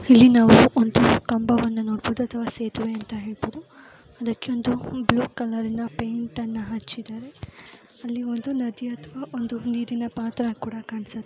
ಇಲ್ಲಿ ನಾವು ಒಂದು ಕಂಬವನ್ನ ನೋಡಬಹುದು ಅಥವಾ ಸೇತುವೆ ಅಂತ ಹೇಳಬಹುದು ಅದಕ್ಕೆ ಬ್ಲೂ ಕಲರ್ನ ಪೈಂಟ್ ಅಣ್ಣ ಹಚ್ಚಿದ್ದಾರೆ ಅಲ್ಲಿ ಒಂದು ನದಿ ಅಥವಾ ಒಂದು ನೀರಿನ ಪತ್ರೆ ಕಾಣಿಸುತ್ತೀ .